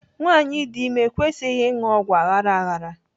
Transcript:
Nwaanyi dị ime ekwesịghị ịṅụ ọgwụ aghara aghara.